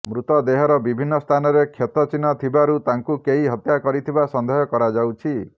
ମୃତଦେହର ବିଭିନ୍ନ ସ୍ଥାନରେ କ୍ଷତ ଚିହ୍ନ ଥିବାରୁ ତାଙ୍କୁ କେହି ହତ୍ୟା କରିଥିବା ସନ୍ଦେହ କରାଯାଉଛି